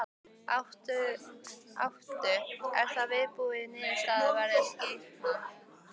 Áttu, er þá viðbúið að niðurstaðan verði sýkna?